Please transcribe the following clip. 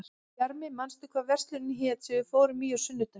Bjarmi, manstu hvað verslunin hét sem við fórum í á sunnudaginn?